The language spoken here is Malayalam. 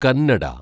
കന്നട